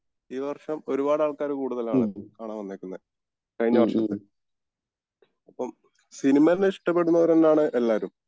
ഈ വർഷം ഒരുപാട് ആൾകാർ കൂടുതലാണ് കാണാൻ വന്നേക്കുന്നെ കഴിഞ്ഞ വർഷത്തെ അപ്പോം സിനിമേനെ ഇഷ്ടപ്പെടുന്നവരന്നേണ് എല്ലാവരും